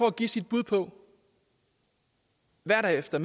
at give sit bud på hvad der efter